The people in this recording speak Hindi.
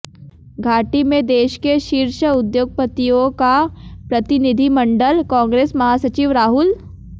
घाटी में देश के शीर्ष उद्योगपतियों का प्र्रतिनिधिमंडल कांग्रेस महासचिव राहुल